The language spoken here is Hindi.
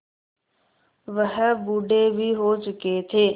वह बूढ़े भी हो चुके थे